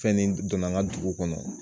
Fɛn nin donna an ka dugu kɔnɔ